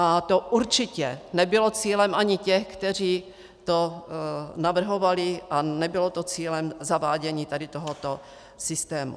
A to určitě nebylo cílem ani těch, kteří to navrhovali, a nebylo to cílem zavádění tady tohoto systému.